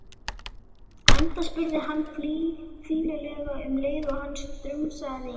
Enda spurði hann fýlulega um leið og hann strunsaði inn